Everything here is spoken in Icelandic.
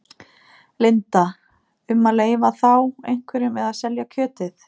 Linda: Um að leyfa þá einhverjum að selja kjötið?